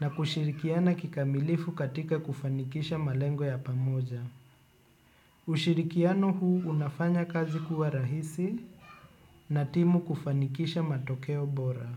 na kushirikiana kikamilifu katika kufanikisha malengo ya pamoja. Ushirikiano huu unafanya kazi kuwa rahisi na timu kufanikisha matokeo bora.